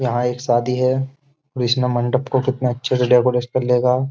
यहाँ एक शादी है और इसने मंडप को कितने अच्छे से डेकोरेट कर लेगा।